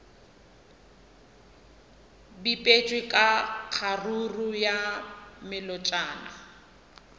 bipetšwe ka kgaruru ya melotšana